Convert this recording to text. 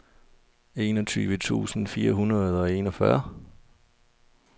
enogtyve tusind fire hundrede og enogfyrre